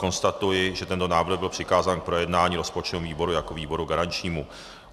Konstatuji, že tento návrh byl přikázán k projednání rozpočtovému výboru jako výboru garančnímu.